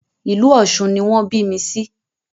Ìlú Ọ̀sun ni wọn bí mi sí